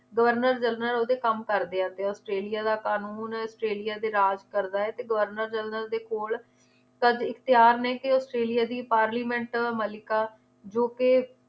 governor ਜਰਲਨ ਓਹਦੇ ਕੰਮ ਕਰਦੇ ਆ ਤੇ ਔਸਟ੍ਰੇਲਿਆ ਦਾ ਕ਼ਾਨੂਨ ਔਸਟ੍ਰੇਲਿਆ ਤੇ ਰਾਜ ਕਰਦਾ ਏ ਤੇ ਗਵਰਨਰ ਜਰਨਲ ਦੇ ਕੋਲ ਲੈਕੇ ਔਸਟ੍ਰੇਲਿਆ ਦੀ ਪਾਰਲੀਮੈਂਟ ਮੱਲਿਕਾ ਜੋ ਕਿ